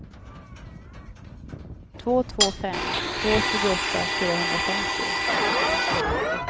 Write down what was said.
två två fem två tjugoåtta fyrahundrafemtio